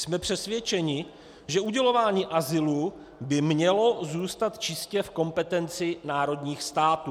Jsme přesvědčeni, že udělování azylu by mělo zůstat čistě v kompetenci národních států.